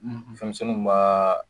Fɛnmisɛnninw b'a